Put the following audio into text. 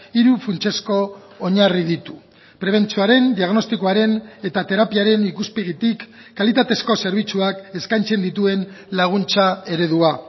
hiru funtsezko oinarri ditu prebentzioaren diagnostikoaren eta terapiaren ikuspegitik kalitatezko zerbitzuak eskaintzen dituen laguntza eredua